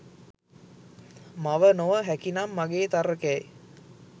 මව නොව හැකිනම් මගේ තර්කයයි.